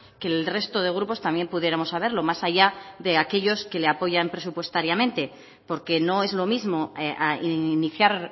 que el resto de grupos también pudiéramos saberlo más allá de aquellos que le apoyan presupuestariamente porque no es lo mismo iniciar